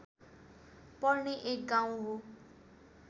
पर्ने एक गाउँ हो